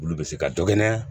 Olu bɛ se ka dɔ kɛnɛ